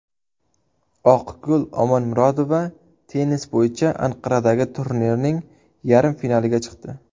Oqgul Omonmorudova tennis bo‘yicha Anqaradagi turnirning yarim finaliga chiqdi.